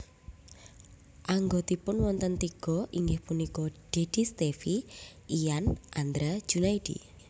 Anggotipun wonten tiga inggih punika Dedy Stevie lan Andra Junaidi